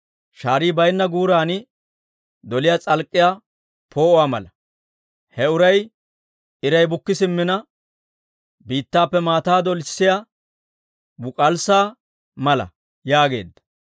shaarii baynna guuran doliyaa s'alk'k'iyaa poo'uwaa mala. He uray iray bukki simmina, biittappe maataa dolisiyaa book'alssaa mala› yaageedda.